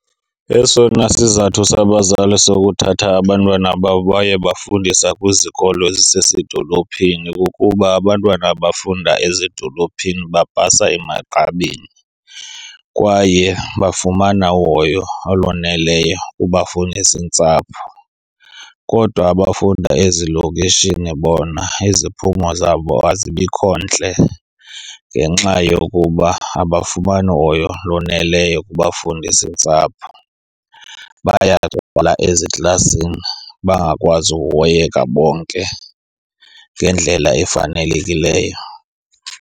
Esona sizathu sabazali sokuthatha abantwana babo bayobafundisa kwizikolo zasedolophini kukuba abantwana abafunda ezidolophini bapasa emagqabini kwaye bafumana uhoyo olwaneleyo kubafundisintsapho. Kodwa abafunda ezilokishini bona iziphumo zabo azibikho ntle ngenxa yokuba abafumani hoyo loneleyo kubafundisintsapho. Bayangxola eziklasini, bangakwazi ukuhoyeka bonke ngendlela efanelekileyo.